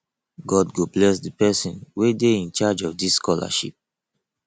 god go bless the person wey dey in charge of dis scholarship